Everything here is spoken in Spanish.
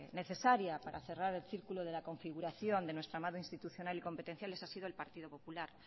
necesaria para cerrar el círculo de la configuración de nuestro institucional y competencial ese ha sido el partido popular